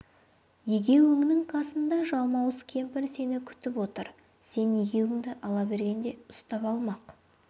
егеуіңнің қасында жалмауыз кемпір сені күтіп отыр сен егеуіңді ала бергенде ұстап алмақ